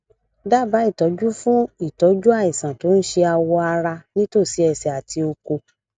daba itọju fun itoju àìsàn tó ń ṣe awọ ara nítòsí ẹsẹ àti oko